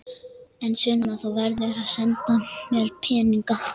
En Sunna, þú verður að senda mér peninga.